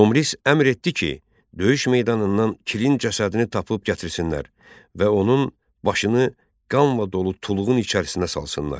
Tomris əmr etdi ki, döyüş meydanından Kirin cəsədini tapıb gətirsinlər və onun başını qanla dolu tulğun içərisinə salsınlar.